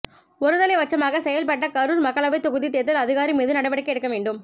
ஒரு தலைபட்சமாக செயல்பட்ட கரூர் மக்களவை தொகுதி தேர்தல் அதிகாரி மீது நடவடிக்கை எடுக்கவேண்டும்